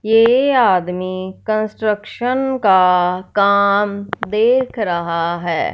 ये आदमी कंस्ट्रक्शन का काम देख रहा है।